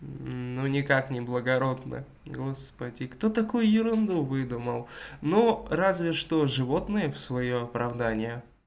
ну никак не благородно господи кто такой ерунду выдумал ну разве что животные в своё оправдание